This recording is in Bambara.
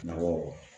Nakɔ